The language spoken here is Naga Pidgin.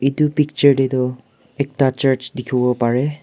etu picture de tu ekta church dikhi bo pare.